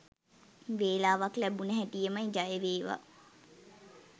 වෙලාවක් ලැබුන හැටියෙම.ජයවේවා